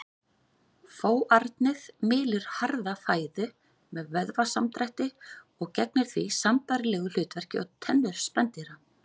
Fóarnið mylur harða fæðu með vöðvasamdrætti og gegnir því sambærilegu hlutverki og tennur spendýra.